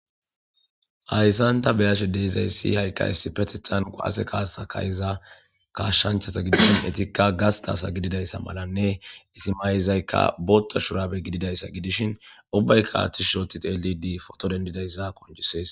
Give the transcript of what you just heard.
Ayssanta beyashe deizay ssi haykka issi petethan qaase kaasa kayiza kashshanchasa gidishin etikka gastasa gididayssa malanne isimayizaykka bootta shuraabe gididayssa gidishin obbaykka attish shooti teelidi foto dendidayssa konjisees.